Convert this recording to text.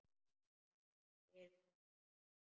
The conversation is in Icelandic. En hann gerir það samt.